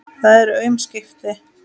Það eru aum skipti.